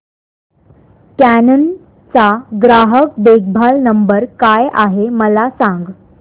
canon चा ग्राहक देखभाल नंबर काय आहे मला सांग